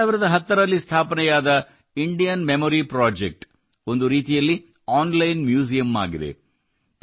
2010 ರಲ್ಲಿ ಸ್ಥಾಪನೆಯಾದ Indian Memory Project ಒಂದು ರೀತಿಯಲ್ಲಿ ಆನ್ಲೈನ್ ಮ್ಯೂಸಿಯಮ್ ಆಗಿದೆ